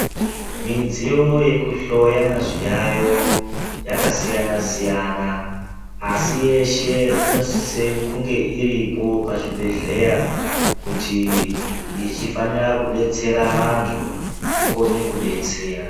Midziyo yekuhloya zviyayo yakasiyana siyana asi yeshe inosise kunge iripo pachibedhleya kuti yechifanira kudetsera vantu ikone kudetsera.